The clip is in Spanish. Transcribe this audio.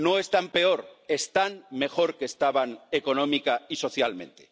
No están peor, están mejor que estaban económica y socialmente.